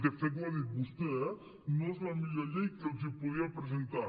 de fet ho ha dit vostè eh no és la millor llei que els podia presentar